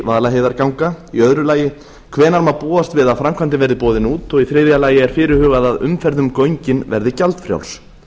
vaðlaheiðarganga í öðru lagi hvenær má búast við að framkvæmdir verði boðnar út og í þriðja lagi er fyrirhugað að umferð um göngin verði gjaldfrjáls